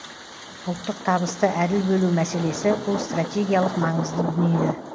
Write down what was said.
ұлттық табысты әділ бөлу мәселесі бұл стратегиялық маңызды дүние